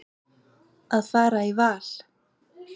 Að fara í val.